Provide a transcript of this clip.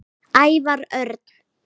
Ævar Örn